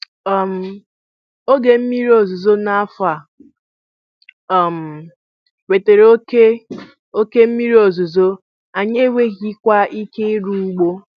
um Oge mmiri ozuzo n'afọ a um wetara oke oke mmiri ozuzo, anyị enweghịkwa ike ịrụ ugbo.